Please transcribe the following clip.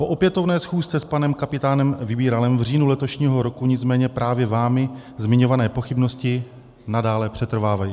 Po opětovné schůzce s panem kapitánem Vybíralem v říjnu letošního roku nicméně právě vámi zmiňované pochybnosti nadále přetrvávají.